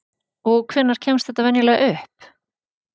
Og hvenær kemst þetta venjulega upp?